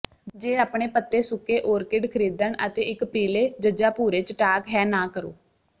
ਜੇ ਆਪਣੇ ਪੱਤੇ ਸੁੱਕੇ ਓਰਕਿਡ ਖਰੀਦਣ ਅਤੇ ਇੱਕ ਪੀਲੇ ਜ ਭੂਰੇ ਚਟਾਕ ਹੈ ਨਾ ਕਰੋ